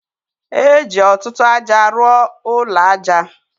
E ji ọtụtụ aja rụọ ụlọ aja o.